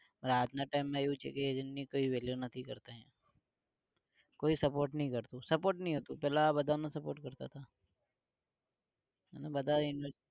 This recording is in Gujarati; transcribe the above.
રાત ના time માં એવું છે કે agent ની કોઈ value નથી કરતા કોઈ support નઈ કરતુ support નઈ કરતુ પેલા બધા એમને support કરતા તા બધા એમને